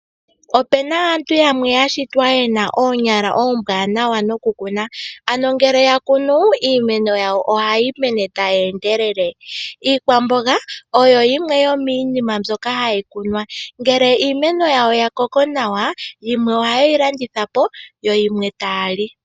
Opuna aantu yamwe yashitwa yena oonyala oombwanawa nokukuna, ano ngele yakunu, iimeno yawo ohayi mene tayi endelele. Iikwamboga oyo yimwe yomiinima mbyoka hayi kunwa. Ngele iimeno yawo yakoko nawa, ohayeyi landithapo, yo yimwe tayeyi lipo.